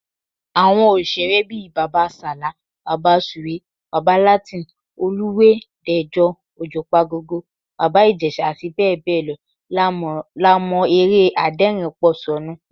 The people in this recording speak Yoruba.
Àwọn òṣèré bíi Bàbá Sàlá, Bàbá Sùwé, Bàbá Latin, Alúwẹ̀ẹ́, Dẹ̀jọ, Òjùpagogo, Bàbá Ìjẹ̀ṣà, abbl. la mọ́ eré adẹ́rìnínpòṣónú